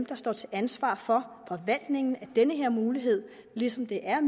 der står til ansvar for forvaltningen af den her mulighed ligesom det er